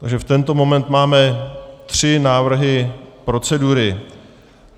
Takže v tento moment máme tři návrhy procedury.